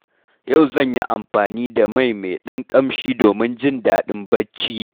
Yau zan yi amfani da mai mai ɗan ƙamshi domin jin daɗin barci.